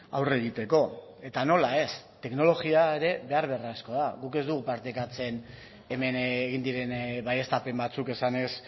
aurre egiteko eta nola ez teknologia ere behar beharrezkoa da guk ez dugu partekatzen hemen egin diren baieztapen batzuk esanez